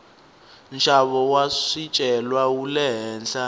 nxavo wa swicelwa wule henhla